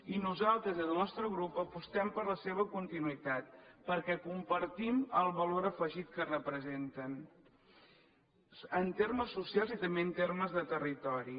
i nosaltres des del nostre grup apostem per la seva continuïtat perquè compartim el valor afegit que representen en termes socials i també en termes de territori